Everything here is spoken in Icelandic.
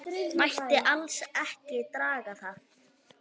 Mætti alls ekki draga það.